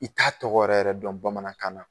I t'a tɔgɔ yɛrɛ yɛrɛ dɔn bamanankan na